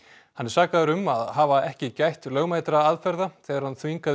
hann er sakaður um að hafa ekki gætt lögmætra aðferða þegar hann þvingaði